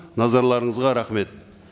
назарларыңызға рахмет